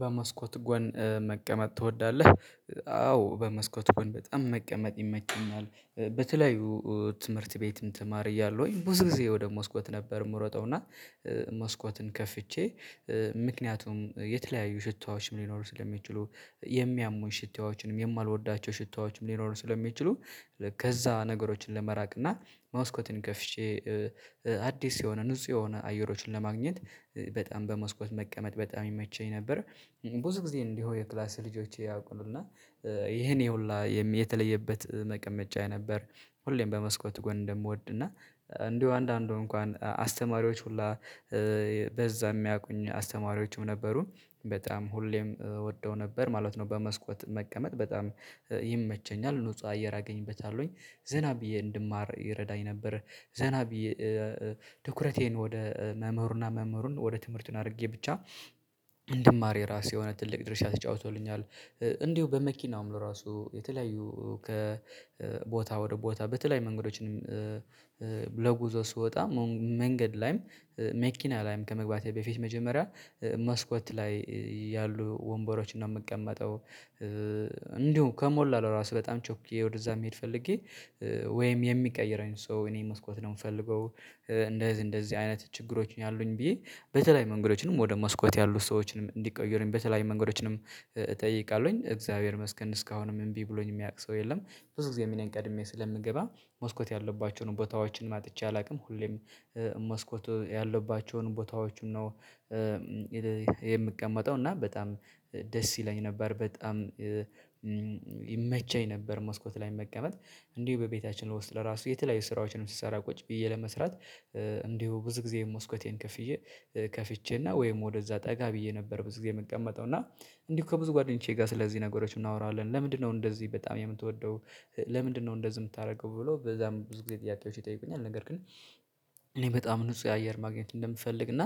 በመስኮት ጎን መቀመጥ ትወዳለህ? አዎ በመስኮት ጎን በጣም መቀመጥ ይመቸኛል። በተለያዩ ትምህርት ቤትም ተማሪ እያለሁኝ ብዙ ጊዜ ወደ መስኮት ነበር የምሮጠው እና መስኮትን ከፍቼ ምክንያቱም የተለያዩ ሽታዎች ሊኖሩ ስለሚችሉ የሚያሙኝ ሽታዎችንም የማልወዳቸው ሽታዎችም ሊኖሩ ስለሚችሉ ከዛ ነገሮችን ለመራቅ እና መስኮትን ከፍቼ አዲስ የሆነ ንጹህ የሆነ አየሮችን ለማግኘት በጣም በመስኮት መቀመጥ በጣም ይመቸኝ ነበር። ብዙ ጊዜ እንዲሁ የክላስ ልጆቼ ያውቁ እና ይኔ ሁላ የተለየበት መቀመጫ የነበር ሁሌም በመስኮቱ ጎን እንደምወድ እና እንዲሁ አንዳንዱ እንኳን አስተማሪዎች ሁላ በዛ የሚያውቁኝ አስተማሪዎችም ነበሩ በጣም ሁሌም እወደው ነበር ማለት ነው በመስኮት መቀመጥ በጣም ይመቸኛል ንጹህ አየር አገኝበታለሁኝ ዝና ብዬ እንድማር ይረዳኝ ነበር። ዘና ብዬ ትኩረቴን ወደ መምህሩ እና መምህሩን ወደ ትምህርቱን አድርጌ ብቻ እንድማር የራሱ የሆነ ትልቅ ድርሻ ተጫውቶልኛል። እንዲሁ በመኪናውም ራሱ የተለያዩ ከቦታ ወደ ቦታ በተለያዩ መንገዶችንም ጉዞ ስወጣ መንገድ ላይም መኪና ላይም ከመግባቴ በፊት መጀመሪያ መስኮት ላይ ያሉ ወንበሮችን ነው የምቀመጠው። እንዲሁ ከሞላሁ ለራሱ በጣም ቸኩዬ ወደዛ መሄድ ፈልጌ ወይም የሚቀይረኝ ሰው እኔ መስኮት ነው የምፈልገው። እንደዚህ እንደዚህ አይነት ችግሮችን ያሉኝ ብዬ በተለይ መንገዶችንም ወደ መስኮት ያሉ ሰዎችንም እንዲቀይሩኝ በተለያዩ መንገዶችንም እጠይቃለሁኝ። እግዚአብሔር ይመስገን እስካሁንም እምቢ ብሎኝ የሚያውቅ ሰው የለም። ብዙ ጊዜም እኔ ቀድሜ ስለምገባ መስኮት ያለባቸውን ቦታዎችንም አጥቼ አላውቅም። ሁሌም መስኮት ያለባቸውን ቦታዎችን ነው የምቀመጠው እና በጣም ደስ ይለኝ ነበር በጣም ይመቸኝ ነበር መስኮት ላይ መቀመጥ። እንዲሁ በቤታችን ውስጥ ለራሱ የተለያዩ ስራዎችንም ስሰራ ቁጭ ብዬ ለመስራት እንዲሁ ብዙ ጊዜ መስኮቴን ከፍዬ ከፍቼ እና ወይም ወደ እዛ ጠጋ ብዬ ነበር ብዙ ጊዜ የምቀመጠው እና እንዲሁ ከብዙ ጓደኞቼ ጋር ስለዚህ ነገሮች እናወራለን ለምንድነው እንደዚህ በጣም የምትወደው ለምንድነው እንደዚህ የምታደርገው ብሎ በዛም ብዙ ጊዜ ጥያቄዎች ይጠይቁኛል። ነገር ግን እኔ በጣም ንጹህ አየር ማግኘት እንደምፈልግ እና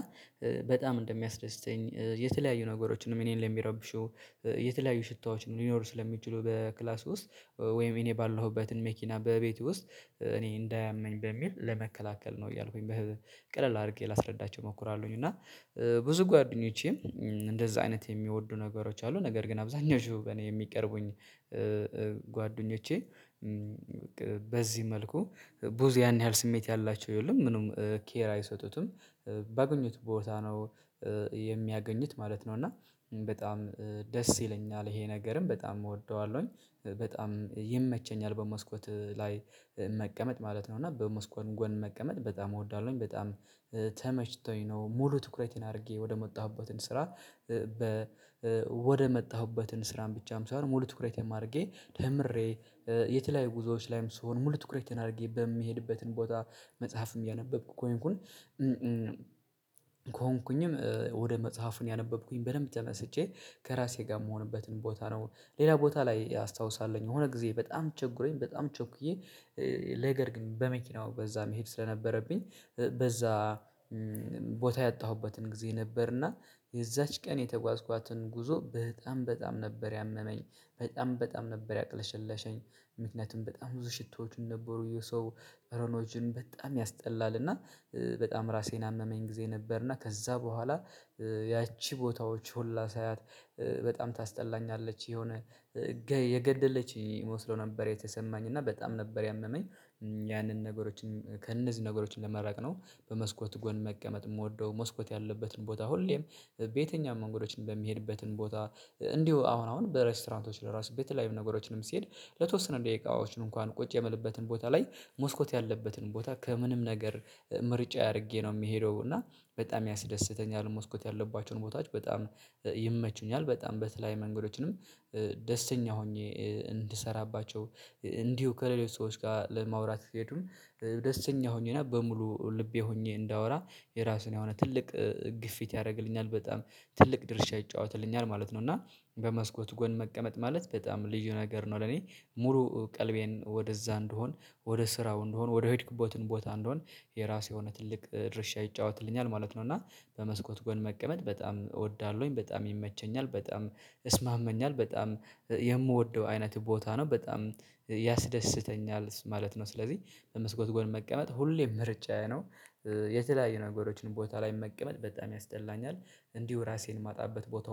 በጣም እንደሚያስደስተኝ የተለያዩ ነገሮችንም እኔን ለሚረብሹ የተለያዩ ሽታዎችም ሊኖሩ ስለሚችሉ በክላስ ውስጥ ወይም እኔ ባለሁበትን መኪና በቤቴ ውስጥ እኔ እንዳያመኝ በሚል ለመከላከል ነው እያልኩኝ ቀለል አድርጌ ላስረዳቸው እሞክራለሁኝ። እና ብዙ ጓደኞቼም እንደዛ አይነት የሚወዱ ነገሮች አሉ ነገር ግን አብዛኞቹ እኔ የሚቀርቡኝ ጓደኞቼ በዚህ መልኩ ብዙ ያን ያህል ስሜት ያላቸው የሉም ምንም ኬር አይሰጡትም ባገኙት ቦታ ነው የሚያገኙት ማለት ነው። እና በጣም ደስ ይለኛል ይሄ ነገርም በጣም እወደዋለሁኝ። በጣም ይመቸኛል በመስኮት ላይ መቀመጥ ማለት ነው እና በመስኮት ጎን መቀመጥ በጣም እወዳለሁኝ በጣም ተመችቶኝ ነው። ሙሉ ትኩረቴን አድርጌ ወደመጣሁበትን ስራ ወደመጣሁበትን ስራም ብቻም ሳይሆን ሙሉ ትኩረቴም አድርጌ ደምሬ የተለያዩ ጉዞዎች ላይም ስሆን ሙሉ ትኩረቴን አድርጌ በሚሄድበትን ቦታ መጽሐፍም እያነበብኩ ከሆንኩኝ ከሆንኩኝም ወደ መጽሐፉን ያነበብኩኝ በደንብ ተመስጬ ከራሴ ጋር የምሆንበትን ቦታ ነው። ሌላ ቦታ ላይ አስታውሳለሁኝ የሆነ ጊዜ በጣም ችግሮኝ በጣም ቸኩዬ ነገር ግን በመኪናው በዛ መሄድ ስለነበረብኝ በዛ ቦታ ያጣሁበትን ጊዜ ነበር እና የዛች ቀን የተጓዝኳትን ጉዞ በጣም በጣም ነበር ያመመኝ በጣም በጣም ነበር ያቅለሸለሸኝ ምክንያቱም በጣም ብዙ ሽቶዎቹን ነበሩ የሰው ጠረኖችን በጣም ያስጠላል እና በጣም ራሴን አመመኝ ጊዜ ነበር እና ከዛ በኋላ ያቺ ቦታዎች ሁላ ሳያት በጣም ታስጠላኛለች የሆነ የገደለች መስሎ ነበር የተሰማኝ እና በጣም ነበር ያመመኝ። ያንን ከእነዚህ ነገሮች ለመራቅ ነው በመስኮት ጎን መቀመጥ የምወደው መስኮት ያለበትን ቦታ ሁሌም በየትኛውም መንገዶች በሚሄድበትን ቦታ እንዲሁ አሁን አሁን በሬስቶራንቶች ለራሱ በተለያዩ ነገሮችንም ስሄድ ለተወሰነ ደቂቃዎች እንኳን ቁጭ የምለበትን ቦታ ላይ ሞስኮት ያለበትን ቦታ ከምንም ነገር ምርጫዬ አድርጌ ነው የሚሄደው እና በጣም ያስደስተኛል። መስኮት ያለባቸውን ቦታዎች በጣም ይመቹኛል በጣም በተለይ መንገዶችንም ደስተኛ ሆኜ እንድሰራባቸው እንዲሁ ከሌሎች ሰዎች ጋር ለማውራት ስትሄዱን ደስተኛ ሆኜ እና በሙሉ ልቤ ሆኜ እንዳወራ የራሱን የሆነ ትልቅ ግፊት ያደርግልኛል በጣም ትልቅ ድርሻ ይጫወትልኛል ማለት ነው። እና በመስኮት ጎን መቀመጥ ማለት በጣም ልዩ ነገር ነው። ለኔ ሙሉ ቀልቤን ወደ እዛ እንድሆን ወደ ስራው እንደሆን ወደ ሄድኩበትን ቦታ እንድሆን የራሱ የሆነ ትልቅ ድርሻ ይጫወትልኛል ማለት ነው። እና በመስኮት ጎን መቀመጥ በጣም እወዳለሁኝ በጣም ይመቸኛል በጣም እስማመኛል በጣም የምወደው አይነት ቦታ ነው በጣም ያስደስተኛል ማለት ነው። ስለዚህ በመስኮት ጎን መቀመጥ ሁሌም ምርጫዬ ነው። የተለያዩ ነገሮችን ቦታ ላይ መቀመጥ በጣም ያስጠላኛል። እንዲሁ ራሴን ማጣበት ቦታ